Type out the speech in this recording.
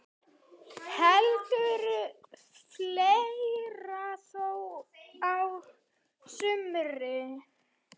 Heldur fleira þó á sumrin.